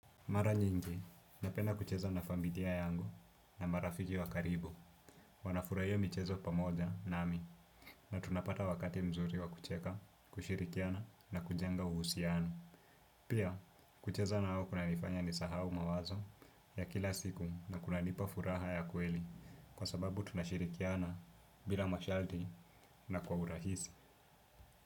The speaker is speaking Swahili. Mara nyingi, napenda kucheza na familia yangu na marafiki wa karibu. Wanafurahia michezo pamoja nami na tunapata wakati mzuri wa kucheka, kushirikiana na kujenga uhusianu. Pia, kucheza nao kuna nifanya ni sahau mawazo ya kila siku na kuna nipa furaha ya kweli kwa sababu tunashirikiana bila mashaldi na kwa urahisi.